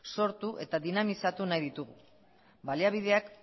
sortu eta dinamizatu nahi ditugu baliabideak